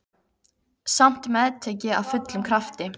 Samt meðtek ég af fullum krafti.